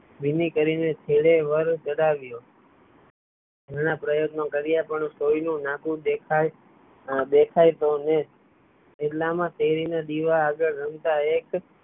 ભીની કરી ને છેડે વર ચ્ધાવ્યો silent ઘણા પ્રયત્નો કર્યા પણ સોય નું નાકુ દેખાય તો ને એટલા માં શેરી ના દીવા ના આગળ રમતા એક